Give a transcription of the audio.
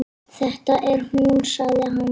Þetta er hún sagði hann.